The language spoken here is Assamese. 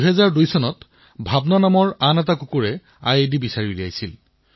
২০০২ চনত ভাৱনা নামৰ এটা কুকুৰে আইইডি সন্ধান কৰি উলিয়াইছিল